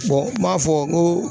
n man fɔ n ko